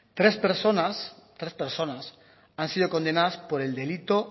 tres personas han sido condenadas por el delito